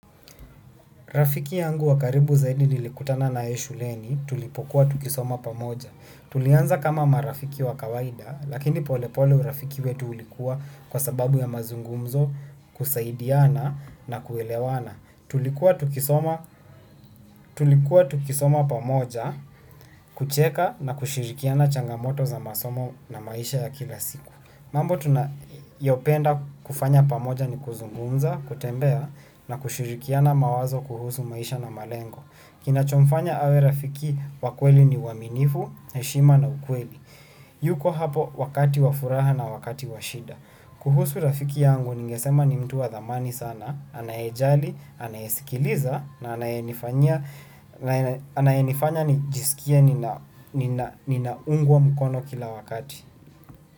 Rafiki yangu wa karibu zaidi nilikutana naye shuleni tulipokuwa tukisoma pamoja. Tulianza kama marafiki wa kawaida, lakini polepole urafiki wetu ulikuwa kwa sababu ya mazungumzo kusaidiana na kuelewana. Tulikuwa tukisoma pamoja kucheka na kushirikiana changamoto za masomo na maisha ya kila siku. Mambo tunayopenda kufanya pamoja ni kuzungumza, kutembea na kushirikiana mawazo kuhusu maisha na malengo. Kinacho mfanya awe rafiki wa kweli ni uaminifu, heshima na ukweli. Yuko hapo wakati wa furaha na wakati wa shida. Kuhusu rafiki yangu ningesema ni mtu wa dhamani sana, anayejali, anayesikiliza na anayenifanya nijisikie ninaungwa mkono kila wakati.